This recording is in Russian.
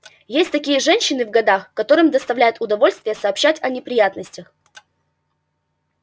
есть такие женщины в годах которым доставляет удовольствие сообщать о неприятностях